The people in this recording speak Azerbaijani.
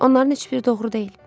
Onların heç biri doğru deyil.